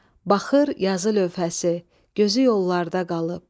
Baxır yazı lövhəsi, gözü yollarda qalıb.